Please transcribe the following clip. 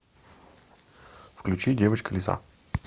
включи девочка лиса